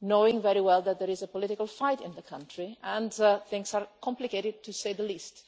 knowing very well that there is a political fight in that country and things are complicated, to say the least.